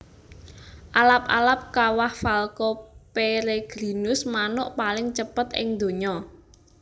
Alap alap Kawah Falco peregrinus manuk paling cepet ing donya